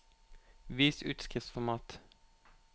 Vis utskriftsformat